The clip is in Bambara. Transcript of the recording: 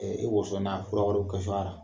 woso fura wɛrɛ